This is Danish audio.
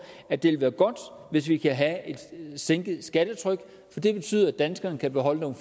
at det vil være godt hvis vi kan sænke skattetrykket for det betyder at danskerne kan beholde nogle